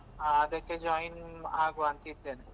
ಹ ಅದಕ್ಕೆ join ಅಗುವಾಂತ ಇದ್ದೇನೆ.